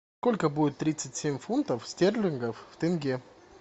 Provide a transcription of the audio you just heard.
сколько будет тридцать семь фунтов стерлингов в тенге